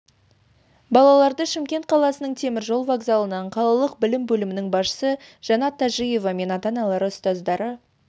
балаларды шымкент қаласының темір жол вокзалынан қалалық білім бөлімінің басшысы жанат тажиева мен ата-аналары ұстаздары